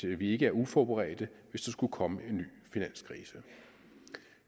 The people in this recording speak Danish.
vi ikke er uforberedte hvis der skulle komme en ny finanskrise